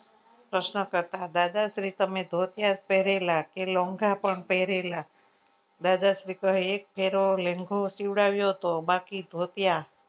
પ્રશ્ન કરતા દાદાશ્રી તમે ધોતિયા પેરેલા કે લોન્ગા પણ પેરેલા દાદાશ્રી કહે એક પેલો લેન્ગો સીવડાવ્યો હતો બાકી ધોતિયા